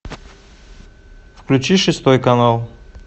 включи шестой канал